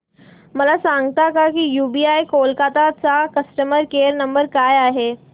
मला सांगता का यूबीआय कोलकता चा कस्टमर केयर नंबर काय आहे